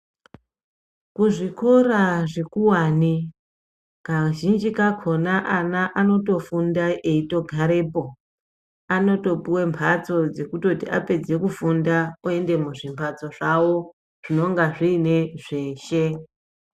Kuzvikora zvikuwani ,kazhinji kakhona ana anotofunda eitogarepo. Anotopuwe mphatso dzekutoti apedze kufunda oende muzvimphatso zvavo, zvinonga zviine zveshe.